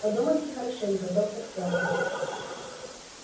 подумайте хорошенько доктор сэлдон